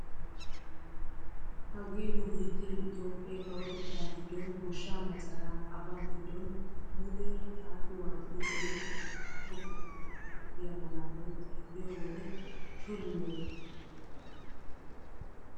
hagee nu bittee itoophphee kawotettaa giddon gooshshaa macaraa aba giddon muleera xaaxi waaxidi oyqqiyaa xaafo keettaa yaagiyaa malaatay xeelliyoo wode shorinne erettena!